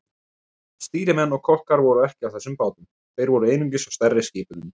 Stýrimenn og kokkar voru ekki á þessum bátum, þeir voru einungis á stærri skipunum.